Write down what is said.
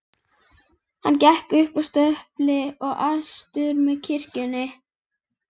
Hann gekk upp að stöpli og austur með kirkjunni.